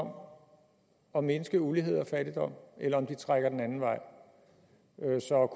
om at mindske ulighed og fattigdom eller om de trækker den anden vej så